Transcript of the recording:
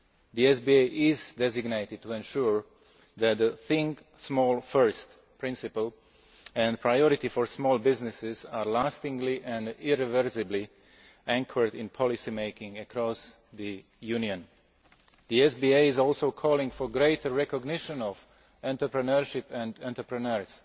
The SBA is designed to ensure that the think small first' principle and priority for small businesses are lastingly and irreversibly anchored in policy making across the Union. The SBA also calls for greater recognition of entrepreneurship and entrepreneurs.